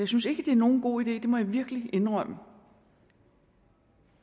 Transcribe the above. synes ikke det er nogen god idé det må jeg virkelig indrømme